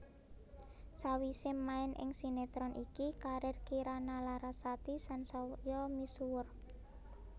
Sawisé main ing sinetron iki karir Kirana Larasati sansaya misuwur